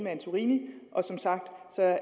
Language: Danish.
antorini og som sagt